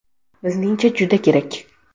Bizningcha, juda kerak.